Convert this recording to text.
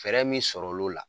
Fɛɛrɛ min sɔrɔ l'o la